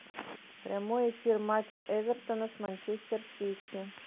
прямой эфир матча эвертона с манчестер сити